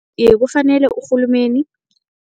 Iye, kufanele urhulumeni